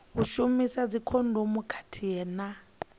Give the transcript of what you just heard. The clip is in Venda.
u shumisa dzikhondomu khathihi na